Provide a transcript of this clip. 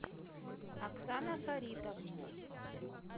оксана фаритовна